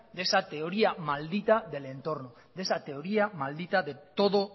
de esa teoría maldita del entorno de esa teoría maldita de todo